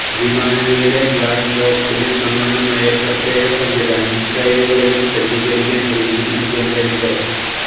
വിമാനങ്ങളിലെ black ബോക്സിന് സമാനമായ പ്രത്യേക സംവിധാനം ട്രെയിനുകളിലും സജ്ജീകരിക്കാൻ ഒരുങ്ങി ഇന്ത്യൻ റെയിൽവേ